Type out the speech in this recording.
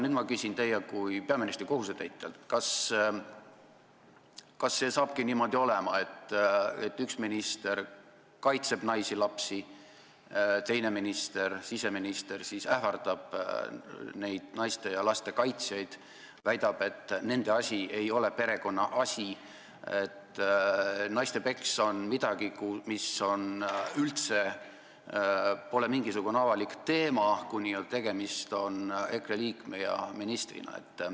Nüüd küsin ma teilt kui peaministri kohusetäitjalt: kas hakkabki niimoodi olema, et üks minister kaitseb naisi ja lapsi, teine minister, siseminister siis, ähvardab naiste ja laste kaitsjaid, väidab, et nende asi ei ole see, mis perekonnas toimub, et naiste peksmine on midagi sellist, mis pole üldse mingisugune avalik teema, kui tegemist on EKRE liikme ja ministriga?